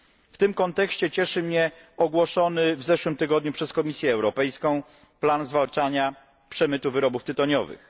W tym kontekście cieszy mnie ogłoszony w zeszłym tygodniu przez Komisję Europejską plan zwalczania przemytu wyrobów tytoniowych.